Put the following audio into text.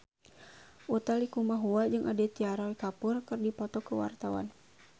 Utha Likumahua jeung Aditya Roy Kapoor keur dipoto ku wartawan